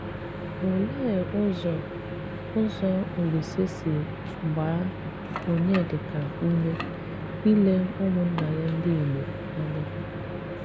Òlee ụzọ ụzọ Òlísè si gbaa Onyedika ume ílé ụmụnná ya ndị Ìgbò ànya?